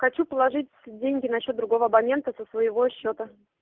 хочу положить деньги на счёт другого абонента со своего счёта